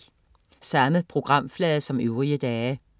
Samme programflade som øvrige dage